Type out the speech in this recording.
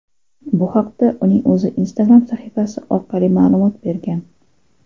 Bu haqda uning o‘zi Instagram sahifasi orqali ma’lumot bergan.